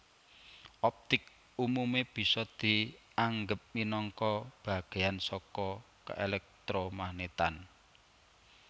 Optik umume bisa dianggep minangka bagéyan saka keelektromagnetan